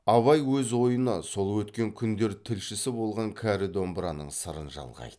абай өз ойына сол өткен күндер тілшісі болған кәрі домбыраның сырын жалғайды